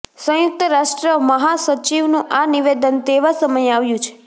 સંયુક્ત રાષ્ટ્ર મહાસચિવનું આ નિવેદન તેવા સમયે આવ્યુ છે